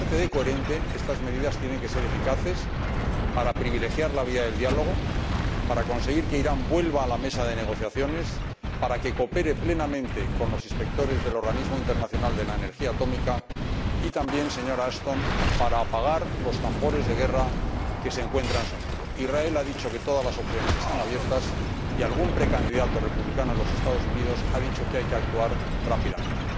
Pero, aparte de coherentes, estas medidas tienen que ser eficaces para privilegiar la vía del diálogo, para conseguir que Irán vuelva a la mesa de negociaciones, para que coopere plenamente con los inspectores del Organismo Internacional de Energía Atómica y también, señora Ashton, para apagar los tambores de guerra que se encuentran sonando Israel ha dicho que todas las opciones están abiertas y algún precandidato republicano en los Estados Unidos ha dicho que hay que actuar rápidamente.